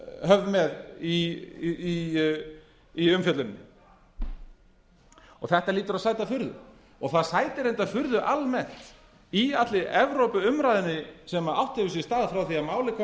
höfð með í umfjölluninni þetta hlýtur að sæta furðu og það sætir reyndar furðu almennt í allri evrópuumræðunni sem átt hefur sér stað frá því að málið kom